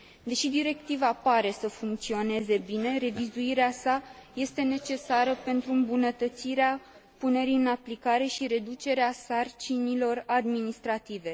Deși directiva pare să funcționeze bine, revizuirea sa este necesară pentru îmbunătățirea punerii în aplicare și reducerea sarcinilor administrative.